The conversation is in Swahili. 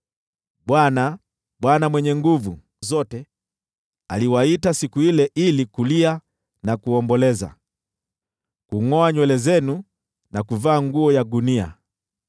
Bwana, Bwana Mwenye Nguvu Zote, aliwaita siku ile ili kulia na kuomboleza, kungʼoa nywele zenu na kuvaa nguo ya gunia.